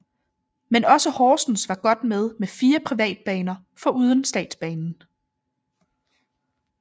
Men også Horsens var godt med med fire privatbaner foruden statsbanen